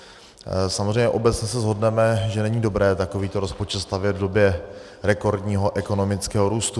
Samozřejmě, obecně se shodneme, že není dobré takovýto rozpočet stavět v době rekordního ekonomického růstu.